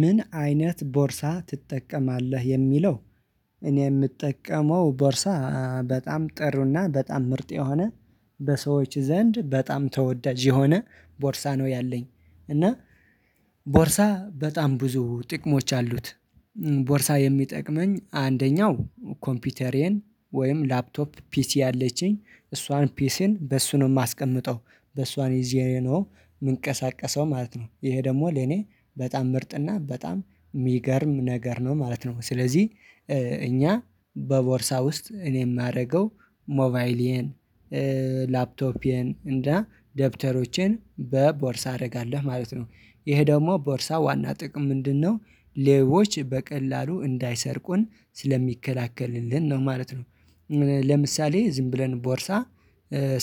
ምን አይነት ቦርሳ ትጠቀማለህ የሚለው? እኔ የምጠቀመው ቦርሳ በጣም ጥሩ እና በጣም ምርጥ የሆነ በሰዎች ዘንድ በጣም ተወዳጅ የሆነ ቦርሳ ነው ያለኝ እና ቦርሳ በጣም ብዙ ጥቅሞች አሉት። ቦርሳ የሚጠቅመኝ አንደኛው ኮምፒውተሬን ወይም ላፕቶፕ ፒሲ አለችኝ እሷን ፒሲን በእሱ ነው ማስቀምጠው በሷን ይዤ ነው የምንቀሳቀሰው ማለት ነው። ይሄ ደግሞ ለኔ በጣም ምርጥ እና በጣም የሚገርም ነገር ነው ማለት ነው። ስለዚህ እኛ በቦርሳ ውስጥ እኔ የማደርገው ሞባይሌን ላፕቶፔን እና ደብተሮቼን በቦርሳ አደርጋለሁ ማለት ነው። ይሄ ደግሞ ቦርሳ ዋና ጥቅም ምንድን ነው? ሌቦች በቀላሉ እንዳይሰርቁን ስለሚከላከልልን ነው ማለት ነው። ለምሳሌ ዝም ብለን ቦርሳ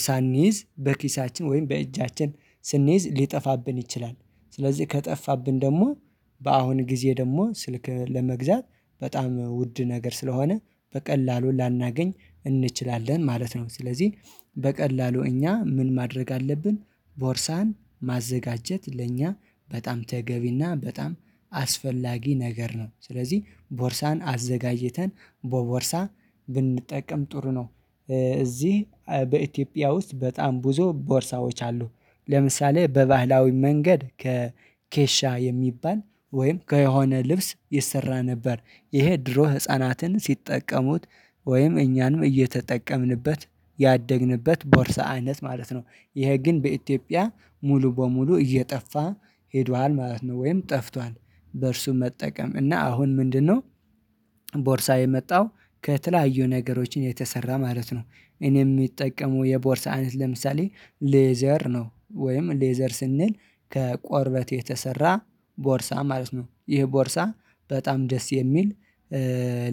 ሳንይዝ በኪሳችን ወይም በእጃችን ስንይዝ ሊጠፋብን ይችላል። ስለዚህ ከጠፋብን ደግሞ በአሁን ጊዜ ደግሞ ስልክ ለመግዛት በጣም ውድ ነገር ስለሆነ በቀላሉ ላናገኝ እንችላለን ማለት ነው። ስለዚህ በቀላሉ እኛ ምን ማድረግ አለብን? ቦርሳን ማዘጋጀት ለእኛ በጣም ተገቢ እና በጣም አስፈላጊ ነገር ነው። ስለዚህ ቦርሳን አዘጋጅተን በቦርሳ ብንጠቀም ጥሩ ነው። እዚህ በኢትዮጵያ ውስጥ በጣም ብዙ ቦርሳዎች አሉ። ለምሳሌ በባህላዊ መንገድ ከኬሻ የሚባል ወይም ከሆነ ልብስ ይሰራ ነበር። ይሄ ድሮ ህፃናትን ሲጠቀሙት ወይም እኛንም እየተጠቀምንበት ያደግንበት ቦርሳ አይነት ማለት ነው። ይሄ ግን በኢትዮጵያ ሙሉ በሙሉ እየጠፋ ሄዷል ማለት ነው ወይም ጠፍቷል። በእርሱ መጠቀም እና አሁን ምንድን ነው? ቦርሳ የመጣው ከተለያዩ ነገሮችን የተሰራ ማለት ነው። እኔ የምጠቀመው የቦርሳ አይነት ለምሳሌ ሌዘር ነው ወይም ሌዘር ስንል ከቆርበት የተሰራ ቦርሳ ማለት ነው። ይህ ቦርሳ በጣም ደስ የሚል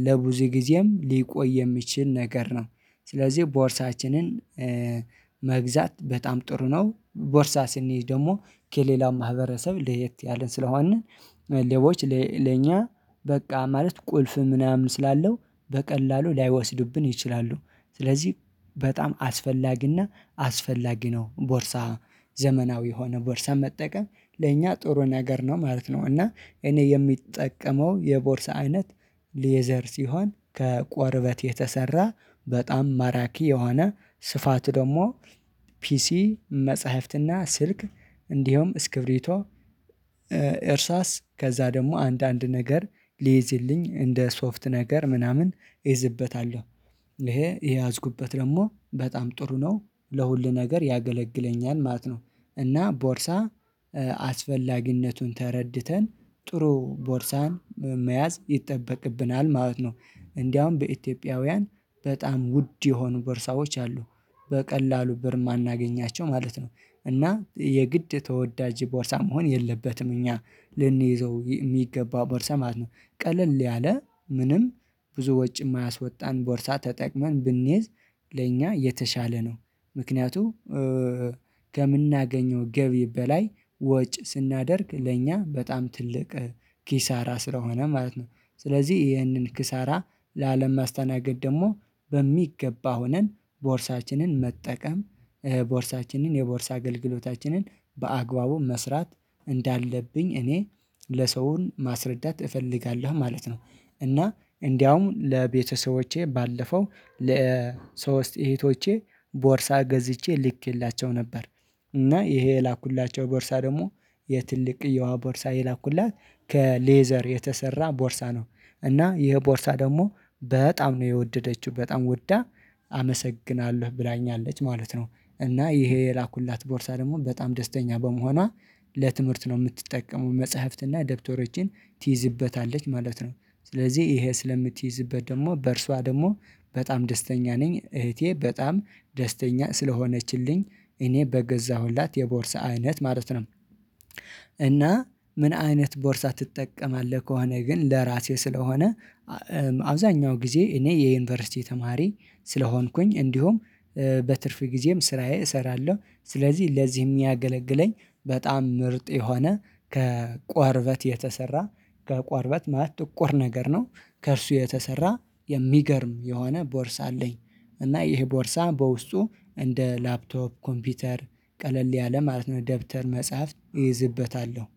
ለብዙጊዜም ሊቆይ የሚችል ነገር ነው። ስለዚህ ቦርሳችንን መግዛት በጣም ጥሩ ነው። ቦርሳ ስንይዝ ደግሞ ከሌላው ማህበረሰብ ለየት ያልን ስለሆንን ሌቦች ለኛ በቃ ማለት ቁልፍ ምናምን ስላለው በቀላሉ ላይወስዱብን ይችላሉ። ስለዚህ በጣም አስፈላጊ እና አስፈላጊ ነው ቦርሳ ዘመናዊ የሆነ ቦርሳ መጠቀም ለእኛ ጥሩ ነገር ነው ማለት ነው። እና እኔ የምጠቀመው የቦርሳ አይነት ሌዘር ሲሆን ከቆርበት የተሰራ በጣም ማራኪ የሆነ ስፋቱ ደግሞ ፒሲ መጽሐፍት እና ስልክ እንዲሁም እስክብሪቶ እርሳስ ከዛ ደግሞ አንዳንድ ነገር ሊይዝልኝ እንደ ሶፍት ነገር ምናምን እይዝበታለሁ። ይሄ የያዝኩበት ደግሞ በጣም ጥሩ ነው። ለሁሉ ነገር ያገለግለኛል ማለት ነው። እና ቦርሳ አስፈላጊነቱን ተረድተን ጥሩ ቦርሳን መያዝ ይጠበቅብናል ማለት ነው። እንደውም በኢትዮጵያውያን በጣም ውድ የሆኑ ቦርሳዎች አሉ። በቀላሉ ብር የማናገኛቸው ማለት ነው። እና የግድ ተወዳጅ ቦርሳ መሆን የለበትም እኛ ልንይዘው የሚገባው ቦርሳ ማለት ነው። ቀለል ያለ ምንም ብዙ ወጪ የማያስወጣን ቦርሳ ተጠቅመን ብንይዝ ለእኛ የተሻለ ነው። ምክንያቱ ከምናገኘው ገቢ በላይ ወጪ ስናደርግ ለእኛ በጣም ትልቅ ኪሳራ ስለሆነ ማለት ነው። ስለዚህ ይሄንን ኪሳራ ላለማስተናገድ ደግሞ በሚገባ ሆነን ቦርሳችንን መጠቀም ቦርሳችንን የቦርሳ አገልግሎታችንን በአግባቡ መስራት እንዳለብኝ እኔ ለሰውን ማስረዳት እፈልጋለሁ ማለት ነው። እና እንደውም ለቤተሰቦቼ ባለፈው ለሶስት እህቶቼ ቦርሳ ገዝቼ ልኬላቸው ነበር። እና ይሄ የላኩላቸው ቦርሳ ደግሞ የትልቅዬዋ ቦርሳ የላኩላት ከሌዘር የተሰራ ቦርሳ ነው። እና ይሄ ቦርሳ ደግሞ በጣም ነው የወደደችው በጣም ወዳ አመሰግናለሁ ብላኛለች ማለት ነው። እና ይሄ የላኩላት ቦርሳ ደግሞ በጣም ደስተኛ በመሆኗ ለትምህርት ነው የምትጠቀመው መጽሐፍት እና ደብተሮችን ትይዝበታለች ማለት ነው። ስለዚህ ይሄ ስለምትይዝበት ደግሞ በእርሷ ደግሞ በጣም ደስተኛ ነኝ እህቴ በጣም ደስተኛ ስለሆነችልኝ እኔ በገዛሁላት የቦርሳ አይነት ማለት ነው። እና ምን አይነት ቦርሳ ትጠቀማለህ? ከሆነ ግን ለራሴ ስለሆነ አብዛኛው ጊዜ እኔ የዩኒቨርሲቲ ተማሪ ስለሆንኩኝ እንዲሁም በትርፍ ጊዜም ስራዬ እሰራለሁ ስለዚህ ለዚህ ሚያገለግለኝ በጣም ምርጥ የሆነ ከቁርበት የተሰራ ከቋርበት ማለት ጥቁር ነገር ነው። ከእርሱ የተሰራ የሚገርም የሆነ ቦርሳ አለኝ። እና ይሄ ቦርሳ በውስጡ እንደ ላፕቶፕ ኮምፒውተር ቀለል ያለ ማለት ነው ደብተር መጽሐፍ እይዝበታለሁ።